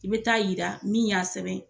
I bɛ taa yira min y'a sɛbɛn.